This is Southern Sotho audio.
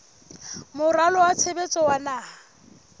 moralo wa tshebetso wa naha